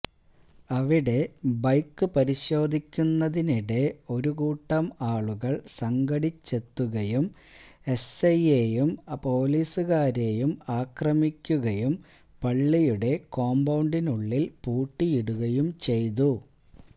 അവിടെ ബൈക്ക് പരിശോധിക്കുന്നതിനിടെ ഒരുകൂട്ടം ആളുകൾ സംഘടിച്ചെത്തുകയും എസ്ഐയേയും പൊലീസുകാരേയും ആക്രമിക്കുകയും പള്ളിയുടെ കോമ്പൌണ്ടിനുള്ളില് പൂട്ടിയിടുകയും ചെയ്തു